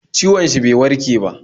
Ciwon shi bai warke ba